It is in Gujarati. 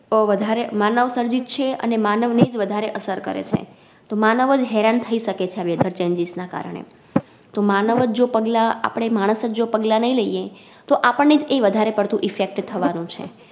અ વધારે માનવ સર્જિત છે અને માનવને જ વધારે અસર કરે છે તો માનવજ હેરાન થઈ શકે છે આ Weather changes ના કારણે તો માનવજ જો પગલાં આપડે માણસજ જો પગલાં નઈ લી તો આપણને જ એ વધારે પડતુ Effect થવાનું છે.